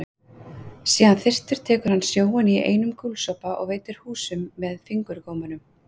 Sé hann þyrstur tekur hann sjóinn í einum gúlsopa og veltir húsum með fingurgómunum.